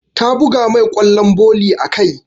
Ta buga mai ƙwallon volley a kai.